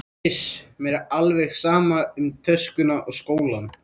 Iss, mér er alveg sama um töskuna og skólann